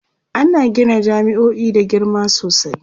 ana Gina jami'o'i da girma sosai